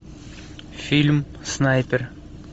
фильм снайпер